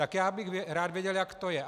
Tak já bych rád věděl, jak to je.